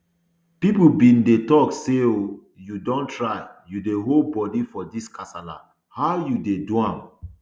pipo bin dey tok say oh you don try you dey hold body for dis kasala how you dey do am